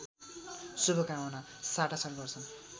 शुभकामना साटासाट गर्छन्